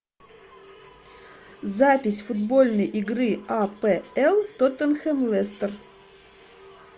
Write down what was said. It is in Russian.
запись футбольной игры апл тоттенхэм лестер